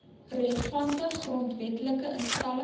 relevante grondwetlike instelling